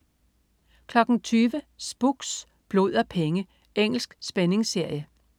20.00 Spooks: Blod og penge. Engelsk spændingsserie